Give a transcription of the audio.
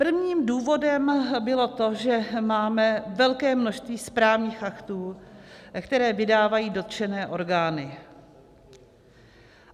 Prvním důvodem bylo to, že máme velké množství správních aktů, které vydávají dotčené orgány.